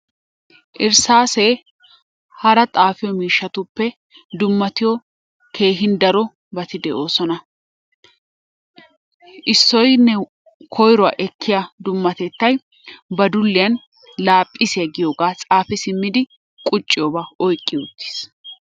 Irissaasee hara xasfiyoo miishshatuppe dummattiyo daro bati de'oosona. Issoynne koyruwa ekkiya dummatettay ba dulliyan laaphisiya giyoogaa xaafi simidi qucciyoobaa oyqqi uttiis.